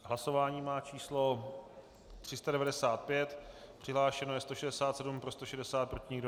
Hlasování má číslo 395, přihlášeno je 167, pro 160, proti nikdo.